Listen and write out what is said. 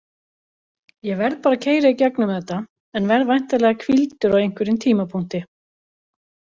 Ég verð bara að keyra í gegnum þetta en verð væntanlega hvíldur á einhverjum tímapunkti.